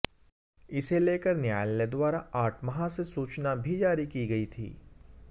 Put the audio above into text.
इसे लेकर न्यायालय द्वारा आठ माह से सूचना भी जारी कि गर्इ थी